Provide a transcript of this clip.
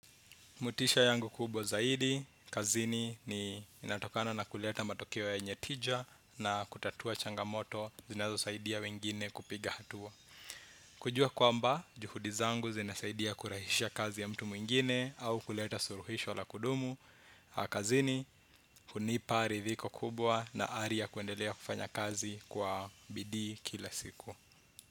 Motisha yangu kubwa zaidi, kazini ni inatokana na kuleta matokeo yenye tija na kutatua changamoto zinazo saidia wengine kupiga hatua. Kujua kwamba, juhudi zangu zinasaidia kurahisha kazi ya mtu mwingine au kuleta suluhisho la kudumu. Kazini, hunipa ridhiko kubwa na aria kuendelea kufanya kazi kwa bidii kila siku.